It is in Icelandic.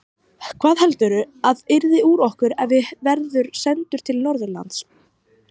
Hvað heldurðu að yrði úr okkur ef her verður sendur til Norðurlands?